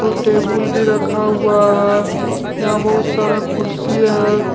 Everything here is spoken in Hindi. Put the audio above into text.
दो टेबल भी रखा हुआ है यहां बहुत सारा कुर्सी है।